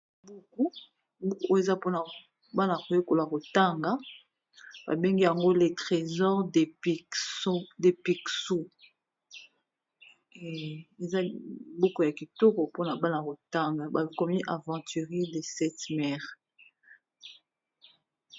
Buku, buku oyo eza po na bana ko yekola ko tanga, ba bengi yango le trésor de picsou, eza buku ya kitoko po na bana ko tanga, ba komi aventures de 7 mers .